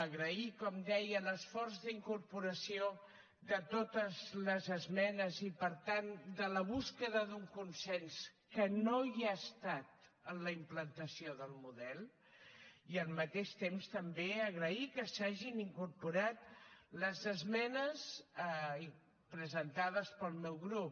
agrair com deia l’esforç d’incorporació de totes les esmenes i per tant de la recerca d’un consens que no hi ha estat en la implantació del model i al mateix temps també agrair que s’hagin incorporat les esmenes presentades pel meu grup